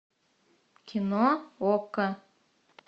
кино окко